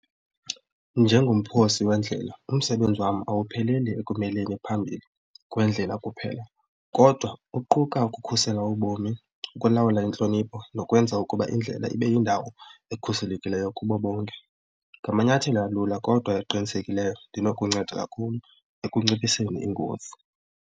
Njengomphosi wendlela umsebenzi wam awupheleli ekumeleni phambi kwendlela kuphela kodwa kuquka ukukhusela ubomi, ukulawula intlonipho nokwenza ukuba indlela ibe yindawo ekhuselekileyo kubo bonke. Ngamanyathelo alula kodwa ekuqinisekileyo ndinokunceda kakhulu ekunciphiseni ingozi.